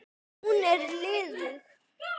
En hún er liðug.